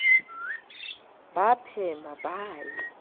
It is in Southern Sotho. ba a phema ba ye